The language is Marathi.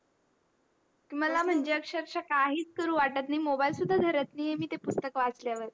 मला म्हणजे अक्षरक्षा काही करू वाटत नाही मोबाइल सुद्धा धरत नाही आहे मी ते पुस्तक वाचल्यावर